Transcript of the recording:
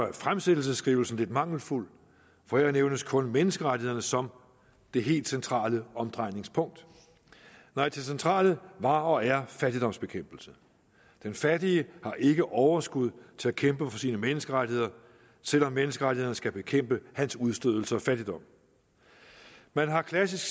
er fremsættelsesskrivelsen lidt mangelfuld for her nævnes kun menneskerettighederne som det helt centrale omdrejningspunkt nej det centrale var og er fattigdomsbekæmpelse den fattige har ikke overskud til at kæmpe for sine menneskerettigheder selv om menneskerettighederne skal bekæmpe hans udstødelse og fattigdom man har klassisk